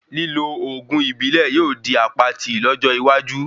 Lílo oògùn ìbílẹ̀ yóò di apatí lójó iwaju